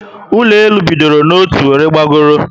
Ụlọ elu bịdọrọ n'otu were bagoro